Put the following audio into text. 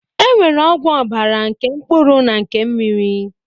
E nwere ọgwụ ọbara nke mkpụrụ na nke mmiri